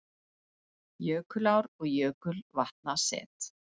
Jökulár- og jökulvatnaset